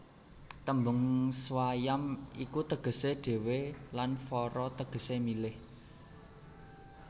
Tembung swayam iku tegesé dhéwé lan vara tegesé milih